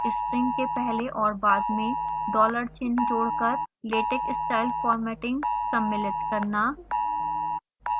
string के पहले और बाद में $ चिन्ह जोड़कर latex style formatting सम्मिलित करना